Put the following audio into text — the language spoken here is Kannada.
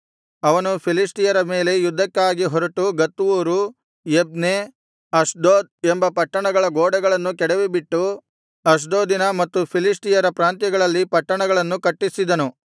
ಅವನು ಫಿಲಿಷ್ಟಿಯರ ಮೇಲೆ ಯುದ್ಧಕ್ಕಾಗಿ ಹೊರಟು ಗತ್ ಊರು ಯಬ್ನೆ ಅಷ್ಡೋದ್ ಎಂಬ ಪಟ್ಟಣಗಳ ಗೋಡೆಗಳನ್ನು ಕೆಡವಿಬಿಟ್ಟು ಅಷ್ಡೋದಿನ ಮತ್ತು ಫಿಲಿಷ್ಟಿಯರ ಪ್ರಾಂತ್ಯಗಳಲ್ಲಿ ಪಟ್ಟಣಗಳನ್ನು ಕಟ್ಟಿಸಿದನು